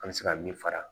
An bɛ se ka min fara